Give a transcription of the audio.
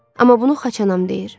Amma bunu xaçanam deyir.